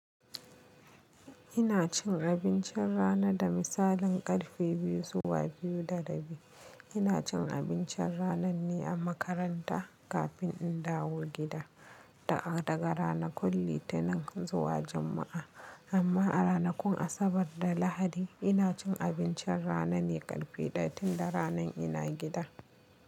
Ina cin abincin rana da misalin karfe biyu zuwa biyu da rabi. Ina cin abincin rananne a makaranta kafin in dawo gida daga ranar Litinin zuwa Juma'a, amma a ranakun Asabar da Lahadi ina cin abincin rana ne karfe ɗaya tun da rana ina gida.